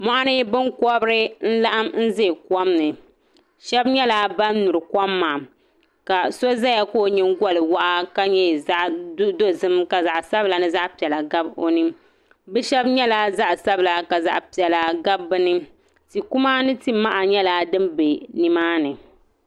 Mɔɣini binkɔbiri n laɣim zaya kom ni shɛba nyɛla bani nyuri kom maa ka so zaya ka o yiŋgoli wɔɣa ka nyɛ zaɣi dozim ka zaɣi sabila ni zaɣi piɛlla gabi o ni bi shɛba nyɛla zaɣi sabila ka zaɣi piɛlla gabi bini ti kuma ni ti maha nyɛla dini bɛ ni maa ni.